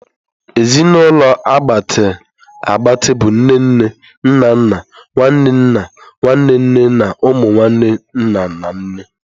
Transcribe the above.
Ezinụlọ a gbatịa agbati bụ nne nne, nna nna, nwanne nna, nwanne nne na umu nwanne nna na nne.